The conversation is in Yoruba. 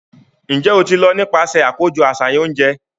Njẹ o ti lọ nipasẹ akojọ aṣayan ounjẹ?